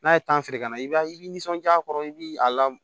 N'a ye feere ka na i b'a i nisɔndiya a kɔrɔ i bi a la